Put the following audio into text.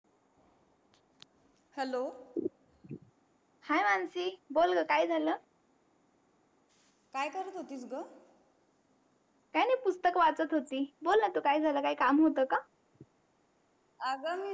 hello hi Mansi बोल ग काय झाल? काय करत होतीस ग काय नाही पुस्तक वाचत होती. बोलण तू काय झाल काही काम होत का अग मी